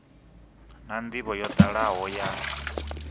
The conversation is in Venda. na ndivho yo dalaho ya